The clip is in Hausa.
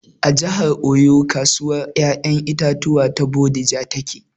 A jihar Oyo kasuwar ƴaƴan itatuwan ta bodija take